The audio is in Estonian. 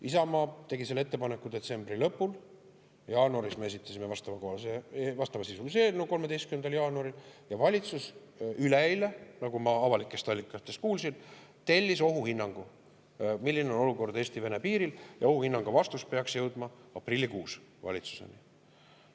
Isamaa tegi selle ettepaneku detsembri lõpul, 13. jaanuaril me esitasime vastavasisulise eelnõu ja valitsus üleeile, nagu ma avalikest allikatest kuulsin, tellis ohuhinnangu, milline on olukord Eesti-Vene piiril, ja ohuhinnangu vastus peaks jõudma aprillikuus valitsuseni.